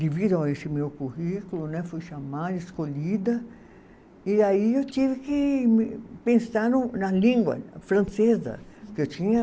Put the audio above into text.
Devido a esse meu currículo né, fui chamada, escolhida, e aí eu tive que me pensar na, na língua francesa. Que eu tinha